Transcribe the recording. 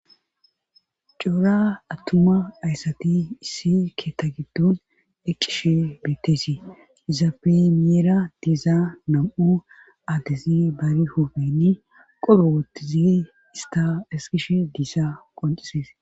Coora attuma ayssati issi keeta giddon eqqishe bettesi izape miera diiza nam7u addizi barihofeni qolo wottizi ista esqishe diisa qoncisees.